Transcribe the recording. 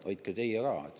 Hoidke teie ka!